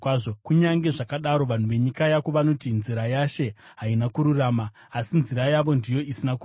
“Kunyange zvakadaro, vanhu venyika yako vanoti, ‘Nzira yaShe haina kururama.’ Asi nzira yavo ndiyo isina kururama.